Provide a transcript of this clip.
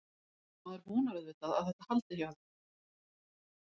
Maður vonar auðvitað að þetta haldi hjá þeim.